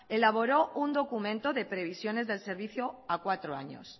elaboró un documento de previsiones del servicio a cuatro años